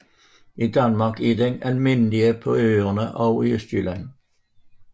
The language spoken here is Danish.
I Danmark er den almindelig på Øerne og i Østjylland